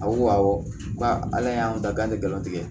A ko awɔ k'a y'an da k'an tɛ galon tigɛ